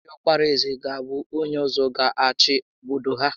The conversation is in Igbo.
Diọkpara ézè ga abụ onyé ọzọ gá achị obodo a